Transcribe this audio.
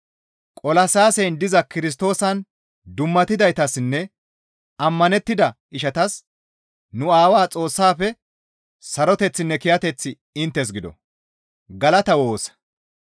Qolasiyaasen diza Kirstoosan dummatidaytassinne ammanettida ishatas nu Aawaa Xoossaafe saroteththinne kiyateththi inttes gido.